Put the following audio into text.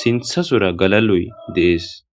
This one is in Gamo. sintha sora galaloy deees